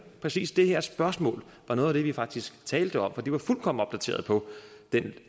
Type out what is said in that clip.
præcis det her spørgsmål var noget af det vi faktisk talte om for de var fuldkommen opdateret på den